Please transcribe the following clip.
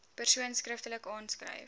persoon skriftelik aanskryf